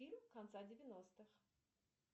фильм конца девяностых